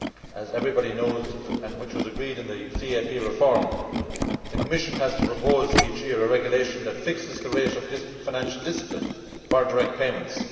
As everybody knows and as was agreed in the CAP reform, the Commission has to propose each year a regulation that fixes the rate of this financial discipline for direct payments.